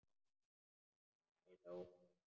Það er alveg ókei.